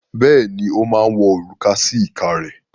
Bẹ́ẹ̀ ni, ó máa wọ òrùka sí ìka rẹ̀.